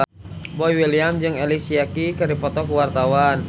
Boy William jeung Alicia Keys keur dipoto ku wartawan